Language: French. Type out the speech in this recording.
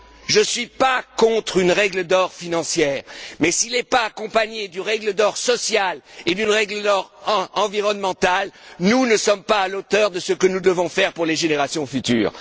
Je ne suis pas contre une règle d'or financière mais si nous ne l'accompagnons pas d'une règle d'or sociale et d'une règle d'or environnementale, nous ne sommes pas à la hauteur de ce que nous devons faire pour les générations futures.